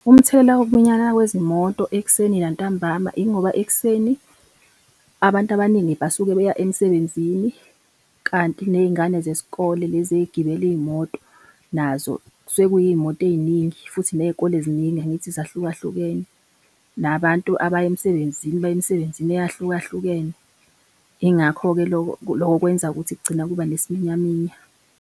Umthelela wokuminyana kwezimoto ekuseni nantambama, ingoba ekuseni abantu abaningi basuke beya emsebenzini, kanti ney'ngane zesikole lezi ey'gibela iy'moto, nazo kusuke kuyiy'moto ey'ningi futhi ney'kole ziningi angithi zahlukahlukene, nabantu abaya emsebenzini baya emsebenzini eyahlukahlukene. Yingakho-ke loko, loko kwenza ukuthi kugcina kuba nesiminyaminya.